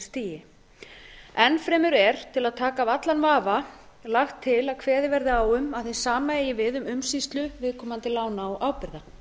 stjórnsýslustigi enn fremur er til að taka af allan vafa lagt til að kveðið verði á um að hið sama eigi við um umsýslu viðkomandi lána og ábyrgða